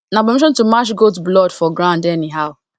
na abomination to match goat blood for grand anyhow